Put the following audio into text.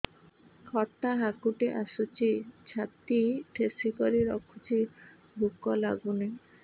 ଖଟା ହାକୁଟି ଆସୁଛି ଛାତି ଠେସିକରି ରଖୁଛି ଭୁକ ଲାଗୁନି